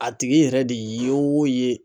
A tigi yɛrɛ de ye o ye.